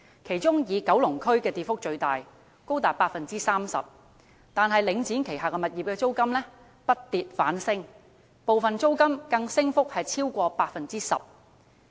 其中以九龍區的跌幅最大，高達 30%， 但領展旗下物業的租金卻不跌反升，部分租金升幅更超過 10%。